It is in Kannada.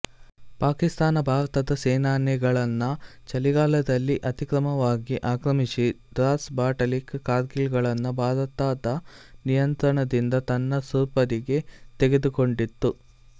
ಪಾಕಿಸ್ತಾನ ಭಾರತದ ಸೇನಾನೆಲೆಗಳನ್ನು ಚಳಿಗಾಲದಲ್ಲಿ ಅತಿಕ್ರಮವಾಗಿ ಆಕ್ರಮಿಸಿ ಡ್ರಾಸ್ ಬಟಾಲಿಕ್ ಕಾರ್ಗಿಲ್ ಗಳನ್ನು ಭಾರತದ ನಿಯಂತ್ರಣದಿಂದ ತನ್ನ ಸುಪರ್ದಿಗೆ ತೆಗೆದುಕೊಂಡಿತು